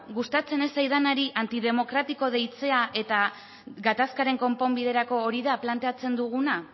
gustatzen ez zaidanari antidemokratiko deitzea eta gatazkaren konponbiderako hori da planteatzen duguna